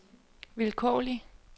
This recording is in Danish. vilkårlig